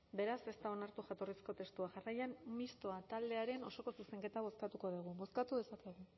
beraz ez da onartu jatorrizko testua jarraian mistoa taldearen osoko zuzenketa bozkatuko dugu bozkatu dezakegu